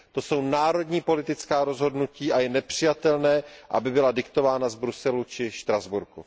To jsou národní politická rozhodnutí a je nepřijatelné, aby byla diktována z Bruselu či Štrasburku.